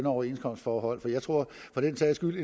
overenskomstforhold for jeg tror for den sags skyld